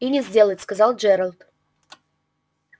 и не сделать сказал джералд